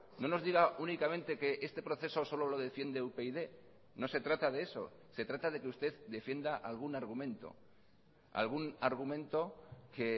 no nos diga únicamente que este proceso solo lo defiende upyd no se trata de eso se trata de que usted defienda algún argumento algún argumento que